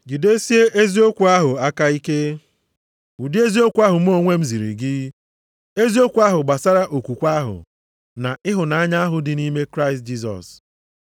Jidesie eziokwu ahụ aka ike, ụdị eziokwu ahụ mụ onwe m ziri gị, eziokwu ahụ gbasara okwukwe ahụ, na ịhụnanya ahụ dị nʼime Kraịst Jisọs.